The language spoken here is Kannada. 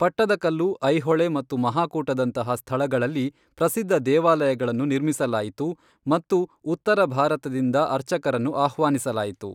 ಪಟ್ಟದಕಲ್ಲು, ಐಹೊಳೆ ಮತ್ತು ಮಹಾಕೂಟದಂತಹ ಸ್ಥಳಗಳಲ್ಲಿ ಪ್ರಸಿದ್ಧ ದೇವಾಲಯಗಳನ್ನು ನಿರ್ಮಿಸಲಾಯಿತು ಮತ್ತು ಉತ್ತರ ಭಾರತದಿಂದ ಅರ್ಚಕರನ್ನು ಆಹ್ವಾನಿಸಲಾಯಿತು.